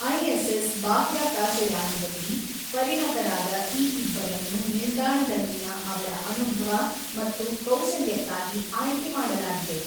ISS ಬಾಹ್ಯಾಕಾಶ ಯಾನದಲ್ಲಿ ಪರಿಣತರಾದ ಈ ಇಬ್ಬರನ್ನು ನಿಲ್ದಾಣದಲ್ಲಿನ ಅವರ ಅನುಭವ ಮತ್ತು ಕೌಶಲ್ಯಕ್ಕಾಗಿ ಆಯ್ಕೆ ಮಾಡಲಾಗಿದೆ.